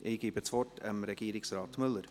Ich gebe das Wort Herrn Regierungsrat Müller.